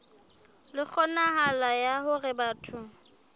le kgonahalo ya hore batho